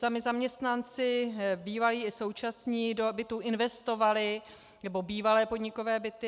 Sami zaměstnanci bývalí i současní do bytů investovali - nebo bývalé podnikové byty.